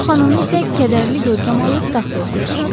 Onun xanımı isə qədərli görkəm alıb taxta oturdu.